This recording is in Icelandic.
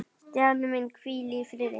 Stjáni minn, hvíl í friði.